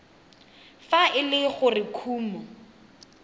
fa e le gore kumo